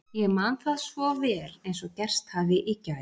Ég man það svo vel eins og gerst hafi í gær